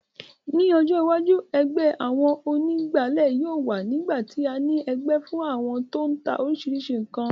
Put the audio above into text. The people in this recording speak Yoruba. Ní ọjọ́ iwájú, ẹgbẹ́ àwọn onígbáàlẹ̀ yóò wà nígbà tí a ní ẹgbẹ́ fún àwọn tó n ta oríṣiríṣi ǹkan